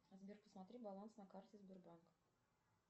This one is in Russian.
сбер посмотри баланс на карте сбербанк